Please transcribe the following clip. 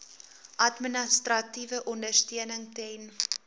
administratiewe ondersteuning ten